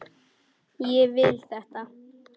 Ég vil þetta.